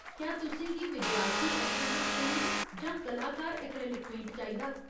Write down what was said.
क्या तुसें गी विद्यार्थी ऐक्रेलिक पेंट जां कलाकार ऐक्रेलिक पेंट चाहिदा ?